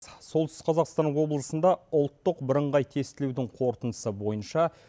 солтүстік қазақстан облысында ұлттық бірыңғай тестілеудің қорытындысы бойынша